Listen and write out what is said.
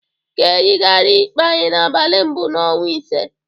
Ka eyigaria ikpe anyị n'abalị mbụ n'ọnwa ise.